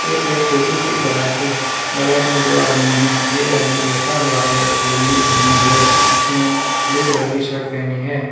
एक छोटी सी गराज है गराज में दो आदमी है एक आदमी बैठा हुआ है लुंगी पहने हुए उसने ब्लू कलर की शर्ट पहनी है।